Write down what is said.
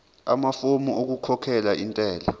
amafomu okukhokhela intela